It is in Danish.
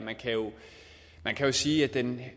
man kan sige at den